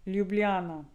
Ljubljana.